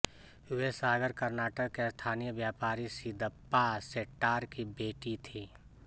वे सागर कर्नाटक के स्थानीय व्यापारी सिद्दप्पा शेट्टार की बेटी थी